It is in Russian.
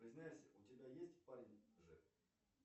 признайся у тебя есть парень же